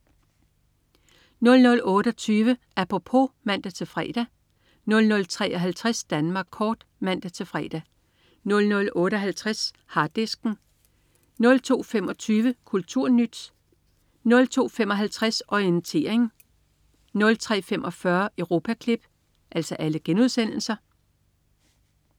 00.28 Apropos* (man-fre) 00.53 Danmark kort* (man-fre) 00.58 Harddisken* 02.25 KulturNyt* (man-fre) 02.55 Orientering* (man-fre) 03.45 Europaklip*